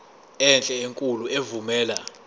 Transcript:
enhle enkulu evumela